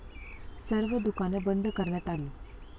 सर्व दुकानं बंद कऱण्यात आली.